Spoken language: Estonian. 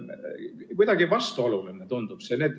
Kuidagi vastuoluline tundub see.